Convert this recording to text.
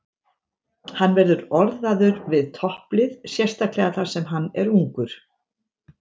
Hann verður orðaður við topplið, sérstaklega þar sem hann er ungur.